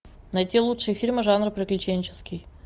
найти лучшие фильмы жанра приключенческий